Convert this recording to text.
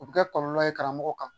O bɛ kɛ kɔlɔlɔ ye karamɔgɔ kan